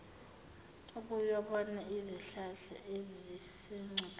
ukuyobona izihlahla ezisengcupheni